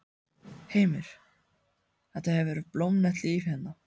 Heimir: Þetta hefur verið blómlegt líf hérna?